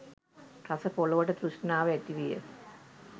රස පොළොවට තෘෂ්ණාව ඇතිවිය.